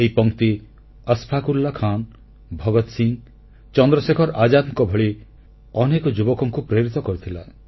ଏହି ପଂକ୍ତି ଅଶ୍ଫାକଉଲ୍ଲାହ ଖାନ୍ ଭଗତ ସିଂ ଚନ୍ଦ୍ରଶେଖର ଆଜାଦଙ୍କ ଭଳି ଅନେକ ଯୁବକଙ୍କୁ ପ୍ରେରିତ କରିଥିଲା